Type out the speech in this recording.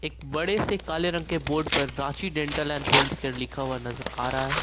बड़े से काले रंग के बोर्ड पर Ranchi dental and health care लिखा हुआ नजर आ रहा है।